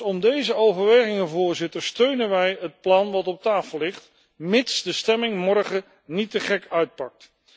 Vanuit deze overwegingen steunen wij het plan dat op tafel ligt, mits de stemming morgen niet te gek uitpakt.